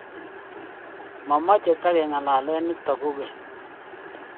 Mamache tikeng'alale nitok kog'eny